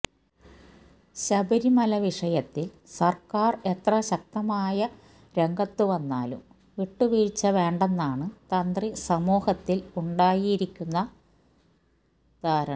ശബരിമല വിഷയത്തില് സര്ക്കാര് എത്ര ശക്തമായ രംഗത്തു വന്നാലും വിട്ടുവീഴ്ച വേണ്ടെന്നാണ് തന്ത്രി സമൂഹത്തില് ഉണ്ടായിരിക്കുന്ന ധാരണ